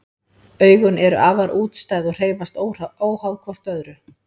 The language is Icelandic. Augun eru afar útstæð og hreyfast óháð hvort öðru.